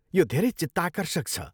यो धेरै चित्ताकर्षक छ।